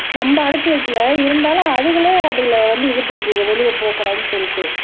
நம்ம அடைச்சு வைக்கலை இருந்தாலும் அதுகளே அதுகள வந்து இது பண்ணிக்குதுங்க வெளிய போகக் கூடாதுன்னு சொல்லிட்டு